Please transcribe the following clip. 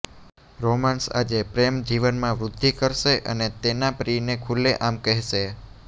romance આજે પ્રેમ જીવનમાં વૃદ્ધિ કરશે અને તેના પ્રિયને ખુલ્લેઆમ કહેશે